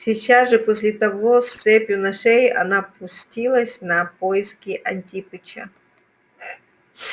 сейчас же после того с цепью на шее она пустилась на поиски антипыча